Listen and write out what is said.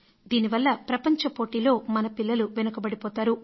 దీని వల్ల ప్రపంచ పోటీలో మన పిల్లలు వెనుకబడిపోతారు